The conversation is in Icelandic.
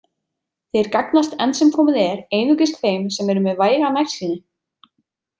Þeir gagnast enn sem komið er einungis þeim sem eru með væga nærsýni.